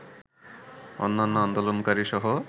আন্যান্য আন্দোলনকারী সহ